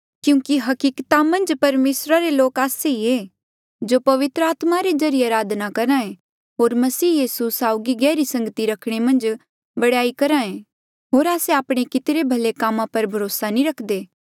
क्यूंकि हकिकता मन्झ परमेसरा रे लोक आस्से ई ऐें जो पवित्र आत्मा रे ज्रीए अराधना करहा ऐें होर मसीह यीसू साउगी गहरी संगती रखणे मन्झ बडयाई करहा ऐें होर आस्से आपणे कितिरे भले कामा पर भरोसा नी रख्दे